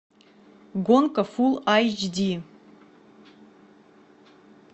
гонка фулл эйч ди